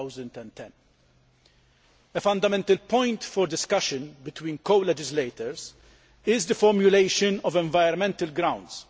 2010. A fundamental point for discussion between co legislators is the formulation of environmental grounds.